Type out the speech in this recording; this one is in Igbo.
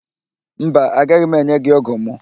Mba, agaghị m enye gị ógụ̀ mụ